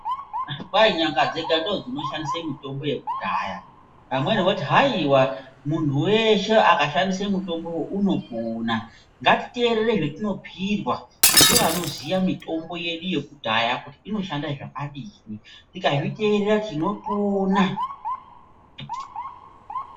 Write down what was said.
Kwai nyanga dzega ndodzinoshandise mitombo yekudhaya vamweni voti haiwa munhu weshe akashandise mutombowo unopona. Ngatiteerere zvetinobhuyirwa ngevanoziya mitombo yedu yekudhaya kuti inoshanda zvakadii. Tikazviteerera tinopona.